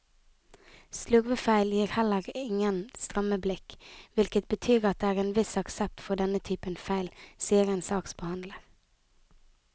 Slurvefeil gir heller ingen stramme blikk, hvilket betyr at det er en viss aksept for denne typen feil, sier en saksbehandler.